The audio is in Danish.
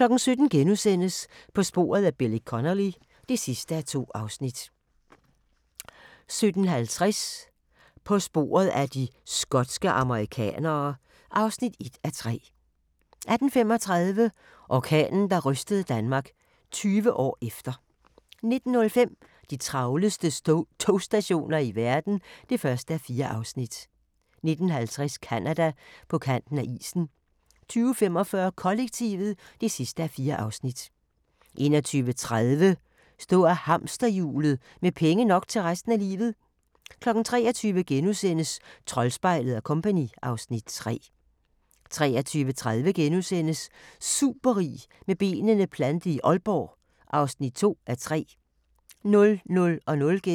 17:00: På sporet af Billy Connolly (2:2)* 17:50: På sporet af de skotske amerikanere (1:3) 18:35: Orkanen, der rystede Danmark - 20 år efter 19:05: De travleste togstationer i verden (1:4) 19:50: Canada: På kanten af isen 20:45: Kollektivet (4:4) 21:30: Stå af hamsterhjulet – med penge nok til resten af livet 23:00: Troldspejlet & Co. (Afs. 3)* 23:30: Superrig med benene plantet i Aalborg (2:3)*